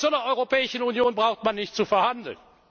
Mit solch einer Europäischen Union braucht man nicht zu verhandeln.